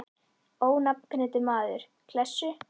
Ónafngreindur maður: Klessu?